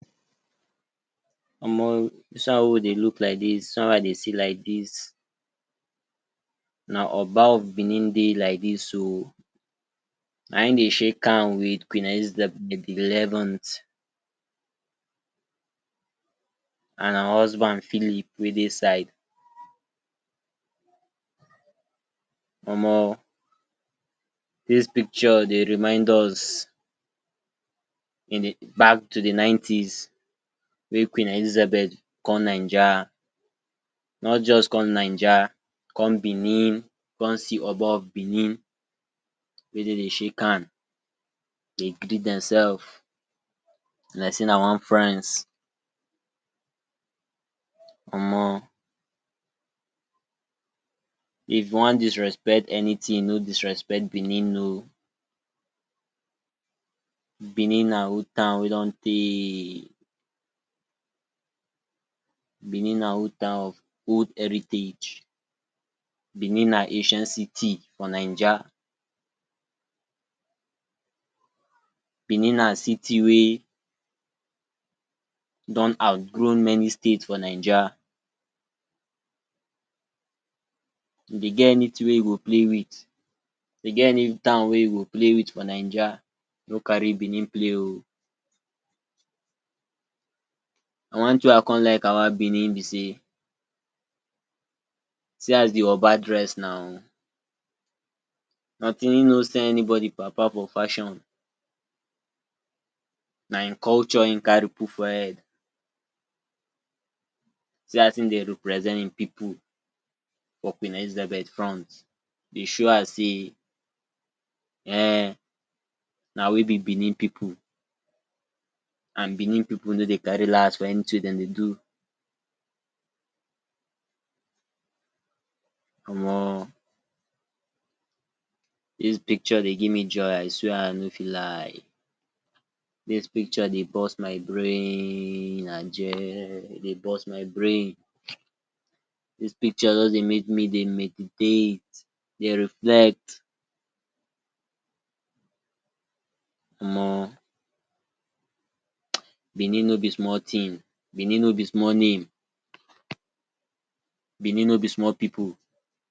omo, dis one wey we dey look like dis, dis one wey i dey see like dis na oba of benin dey like dis oo. na im dey shake hand with queen elizabeth de eleven th and her husband Philip wey dey side. omo, dis picture dey remind us in de back to de nineties wey queen elizabeth come naija, not just come naija come benin come see oba of benin wey dey dey shake hand dey greet demselves like sey na one friends omo if you wan disrespect anything no disrespect benin oo. Benin na old town wey don tey, benin na old town, old heritage, benin na ancient city for naija, benin na city wey don outgrow many state for naija. If dey get anything wey you go play with, if dey get any town wey you go play with for naija, no carry benin play oo. And one thing wey I con like about benin be sey, see as de oba dress now im no send anybody papa for fashion, na im culture im carry put for head. See as im dey represent im pipu for queen elizabeth front dey show her say um na we be benin people and benin pipu no dey carry last for anything wey dem dey do. omo, dis picture dey give me joy I swear I no fit lie, dis picture dey burst my brainnn aje e dey burst my brain. This picture just dey make me dey meditate, dey reflect, omo benin no be small thing, benin no be small name, benin no be small pipu.